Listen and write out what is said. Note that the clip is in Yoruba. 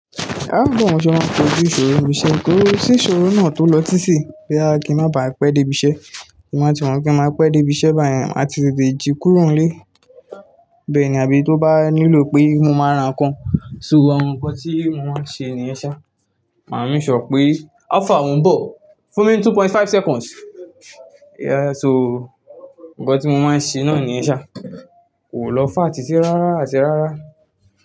Áá bawó ń mọ ṣe máa n k'ojú ìṣòro ni ibi iṣẹ́? Kò sí ìṣòro náà tó lọ títì bóyá kí n má baà pẹ́ dé ibi iṣẹ́. Máa ti mọ̀ pé n máa pẹ́ dé ibi iṣẹ́ báyen, maà ti tètè jí kúrò nílé. Bẹ́ẹ̀ ni, àbí tó bá nílò pé mo máa ra nǹkan, so àwọn nǹkan tí mo máa n ṣe níyen ṣa. Màa make sure n pé how far mo ń bọ̀? Fún mi ni two point five seconds. Yeah so, ǹkan tí mo máa n ṣe náà niyen ṣa. Kò lọ far títí rárá àti rárá.